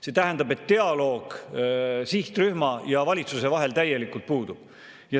See tähendab, et dialoog sihtrühma ja valitsuse vahel täielikult puudub.